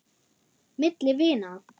Milli vina.